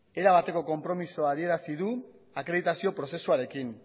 erabateko konpromezua adierazi du akreditazio prozesuarekin